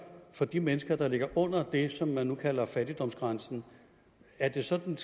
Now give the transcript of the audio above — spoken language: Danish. for de mennesker der ligger under det som man nu kalder fattigdomsgrænsen er det sådan